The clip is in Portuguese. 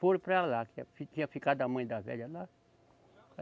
Foram para lá, que a, tinha ficado a mãe da velha lá.